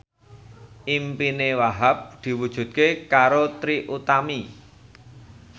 impine Wahhab diwujudke karo Trie Utami